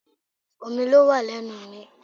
Omi ló wà lẹ́nu mi